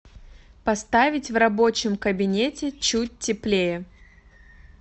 поставить в рабочем кабинете чуть теплее